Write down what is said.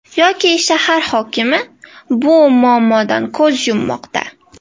Yoki shahar hokimi bu muammodan ko‘z yummoqda.